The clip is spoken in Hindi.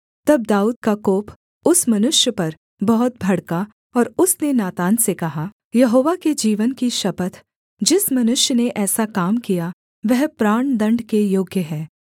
तब दाऊद का कोप उस मनुष्य पर बहुत भड़का और उसने नातान से कहा यहोवा के जीवन की शपथ जिस मनुष्य ने ऐसा काम किया वह प्राणदण्ड के योग्य है